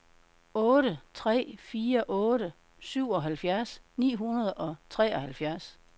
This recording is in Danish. otte tre fire otte syvoghalvfjerds ni hundrede og treoghalvfjerds